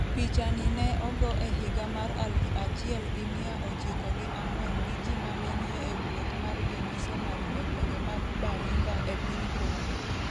Picha ni ne ogo e higa mar aluf achiel gi miya ochiko gi ang'wen gi ji mane ni e wuoth mar jomisonari e gwenge mag Baringa e piny Congo.